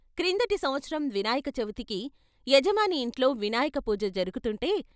క్రిందటి సంవత్సరం వినాయక చవితికి యజమాని ఇంట్లో వినాయక పూజ జరుగుతుంటే.